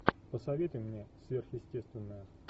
посоветуй мне сверхъестественное